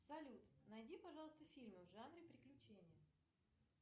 салют найди пожалуйста фильмы в жанре приключения